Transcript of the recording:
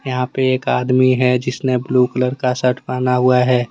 यहाँ पे एक आदमी है जिसने ब्ल्यू कलर का शर्ट पहना हुआ है।